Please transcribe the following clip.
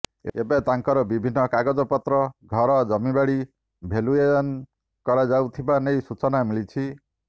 ଏବେ ତାଙ୍କର ବିଭିନ୍ନ କାଗଜପତ୍ର ଘର ଜମିବାଡ଼ି ଭେଲୁଏୟନ କରାଯାଉଥିବା ନେଇ ସୂଚନା ମିଳିଛି